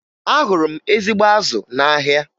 Ahụrụ m ezigbo azụ n'ahịa